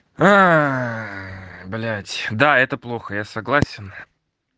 а блять да это плохо я согласен